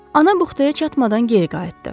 Ana buxtaya çatmadan geri qayıtdı.